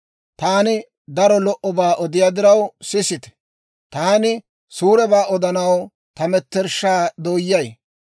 Taani daro lo"obaa odiyaa diraw sisite; taani suurebaa odanaw ta metershshaa dooyyay.